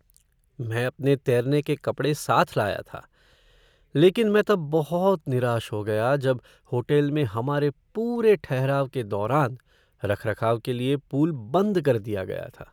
मैं अपने तैरने के कपड़े साथ लाया था लेकिन मैं तब बहुत निराश हो गया जब होटल में हमारे पूरे ठहराव के दौरान रखरखाव के लिए पूल बंद कर दिया गया था।